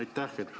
Aitäh!